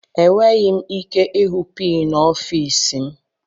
Enweghị m ike ịhụ pin ọfịs m.